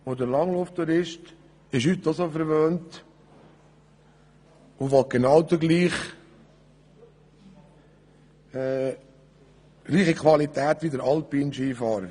Der Langlauftourist ist heute so verwöhnt, dass er genau die gleiche Qualität will wie der Alpinskifahrer.